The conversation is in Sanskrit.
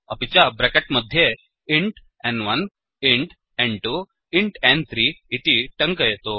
अपि च ब्रेकेट् मध्ये इन्ट् न्1 इन्ट् n2इन्ट् न्3 इति टङ्कयतु